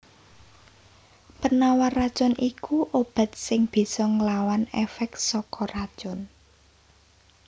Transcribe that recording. Penawar racun iku obat sing bisa nglawan èfèk saka racun